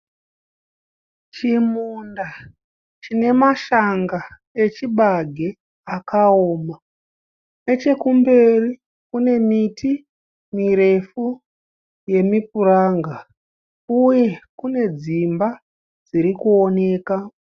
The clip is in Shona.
Chimunda chinemashanga echibage akaoma nechekumberi kunemiti mirefu yemipuranga uye kunedzimba dzirikuoneka.